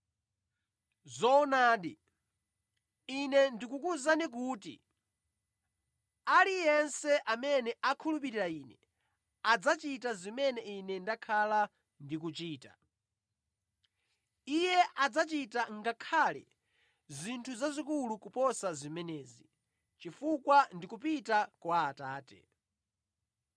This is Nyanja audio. Zoonadi, Ine ndikukuwuzani kuti aliyense amene akhulupirira Ine adzachita zimene Ine ndakhala ndikuchita. Iye adzachita ngakhale zinthu zazikulu kuposa zimenezi, chifukwa ndikupita kwa Atate.